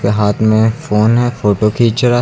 ये हाथ में फोन है फोटो खींच रहा है।